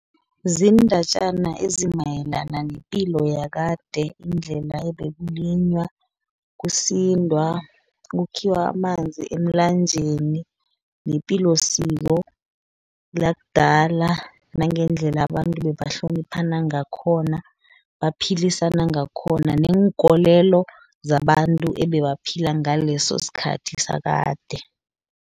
Zindatjana ezimayelana nepilo yakade, indlela ebekulinywa, kusindwa, kukhiwa amanzi emlanjeni, nepilosiko lakudala. Nangendlela abantu bebahloniphana ngakhona, baphilisana ngakhona, neenkolelo zabantu ebebaphila ngaleso sikhathi sakade.